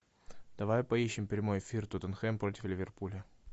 давай поищем прямой эфир тоттенхэм против ливерпуля